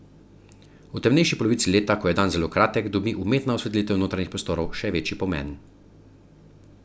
V temnejši polovici leta, ko je dan zelo kratek, dobi umetna osvetlitev notranjih prostorov še večji pomen.